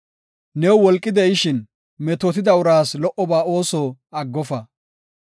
New wolqi de7ishin, metootida uraas lo77oba ooso aggofa.